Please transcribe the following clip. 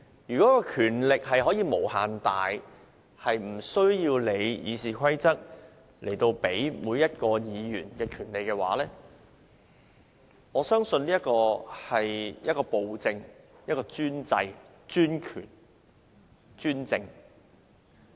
如果權力可以無限大，無須理會《議事規則》賦予每位議員的權利，我相信這是暴政、專制、專權、專政。